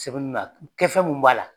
Sɛbɛnni na kɛfɛn mun b'a la.